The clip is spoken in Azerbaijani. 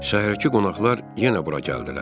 Şəhərdəki qonaqlar yenə bura gəldilər.